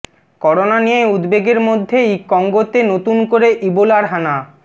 corona নিয়ে উদ্বেগের মধ্যেই কঙ্গোতে নতুন করে ইবোলার হানা